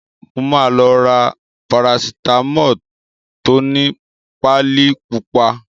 Mo máa lọ ra Parasitamọ́ọ̀ tó ni páálí pupa.